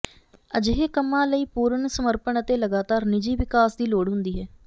ਅਜਿਹੇ ਕੰਮਾਂ ਲਈ ਪੂਰਨ ਸਮਰਪਣ ਅਤੇ ਲਗਾਤਾਰ ਨਿੱਜੀ ਵਿਕਾਸ ਦੀ ਲੋੜ ਹੁੰਦੀ ਹੈ